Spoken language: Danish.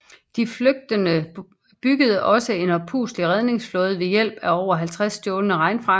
De flygtende byggede også en oppustelig redningsflåde ved hjælp af over 50 stjålne regnfrakker